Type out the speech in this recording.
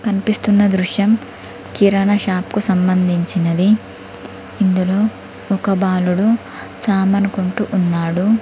కనిపిస్తున్న దృశ్యం కిరాణా షాప్కు సంబంధించినది ఇందులో ఒక బాలుడు సామన్ కొంటూ ఉన్నాడు.